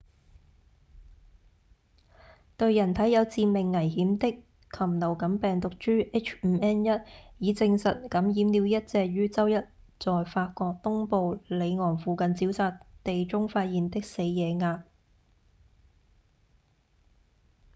對人體有致命危險的禽流感病毒株 h5n1 已證實感染了一隻於週一在法國東部里昂附近沼澤地中發現的死野鴨